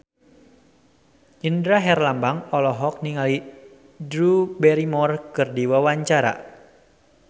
Indra Herlambang olohok ningali Drew Barrymore keur diwawancara